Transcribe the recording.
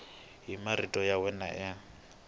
hi marito ya wena n